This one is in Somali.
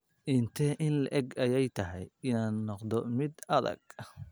Intee in le'eg ayay tahay inaan noqdo mid adag?